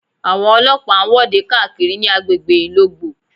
Àwọn ọlọ́pàá ń wọ́de káàkiri ní agbègbè Ìlogbò